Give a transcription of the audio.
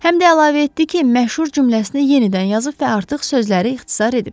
Həm də əlavə etdi ki, məşhur cümləsini yenidən yazıb və artıq sözləri ixtisar edib.